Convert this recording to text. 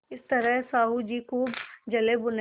इस तरह साहु जी खूब जलेभुने